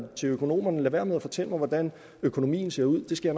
til økonomerne lad være med at fortælle mig hvordan økonomien ser ud det skal